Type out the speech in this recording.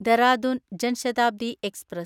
Dehradun Jan Shatabdi express